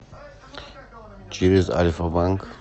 через альфа банк